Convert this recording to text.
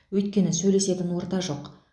өйткені сөйлесетін орта жоқ